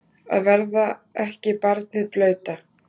Að verða ekki barnið blauta